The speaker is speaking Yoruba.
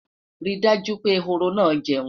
rí dájú pé ehoro na jeun